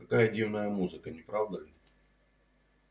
какая дивная музыка не правда ли